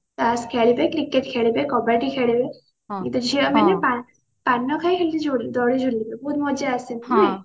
ତାସ୍ ଖେଳିବେ cricket ଖେଳିବେ କବାଡି ଖେଳିବେ କିନ୍ତୁ ଝିଅ ମାନେ ପାନ ଖାଇ ଏମତି ଦୋ ଦୋଳି ଝୁଲିବେ ବହୁତ ମଜା ଆସେ ନାଇଁ